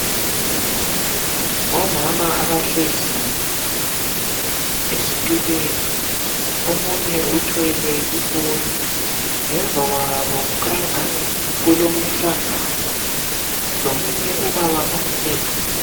Omama abahlezi ezithulweni omunye uthwele ifoni ,ngemva kwabo kukhanya ingani kulomuhlangano lomunye ubaba omileyo.